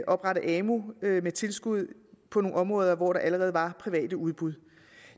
oprette amu med tilskud på nogle områder hvor der allerede var private udbud